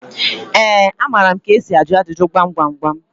Ee, amara m ka esi ajụ ajụjụ gwam gwam gwam.